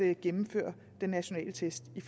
at gennemføre den nationale test i